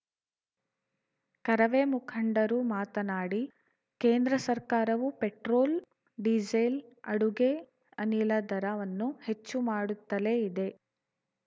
ಕರವೇ ಮುಖಂಡರು ಮಾತನಾಡಿ ಕೇಂದ್ರ ಸರ್ಕಾರವು ಪೆಟ್ರೋಲ್‌ ಡೀಸೆಲ್‌ ಅಡುಗೆ ಅನಿಲ ದರವನ್ನು ಹೆಚ್ಚು ಮಾಡುತ್ತಲೇ ಇದೆ